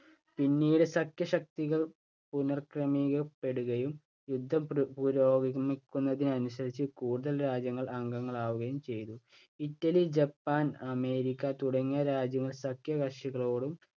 പിന്നീട് സംഖ്യ ശക്തികൾ പുനക്രമീകരിക്കപ്പെടുകയും യുദ്ധം പുപുരോഗമിക്കുന്നതിനനുസരിച്ച്‌ കൂടുതൽ രാജ്യങ്ങൾ അംഗങ്ങളാവുകയും ചെയ്തു. ഇറ്റലി, ജപ്പാൻ, അമേരിക്ക തുടങ്ങിയ രാജ്യങ്ങൾ സംഖ്യകക്ഷികളോടും